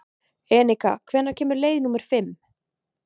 Enika, hvenær kemur leið númer fimm?